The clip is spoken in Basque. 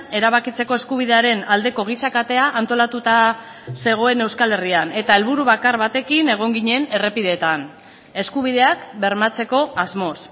erabakitzeko eskubidearen aldeko giza katea antolatuta zegoen euskal herrian eta helburu bakar batekin egon ginen errepideetan eskubideak bermatzeko asmoz